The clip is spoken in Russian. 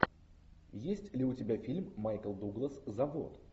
есть ли у тебя фильм майкл дуглас завод